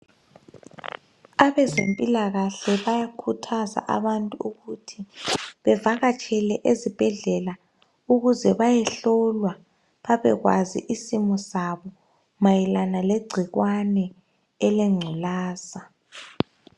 Abazempilakahle bayakhuthaza abantu ukuthi bevakatshele ezibhedlela ukuze bayehlolwa babekwazi isimo sabo mayelana legcikwane elengculaza.